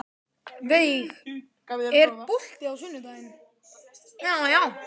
Veig, er bolti á sunnudaginn?